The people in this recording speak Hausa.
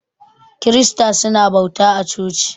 Kirista su na bauta a coci.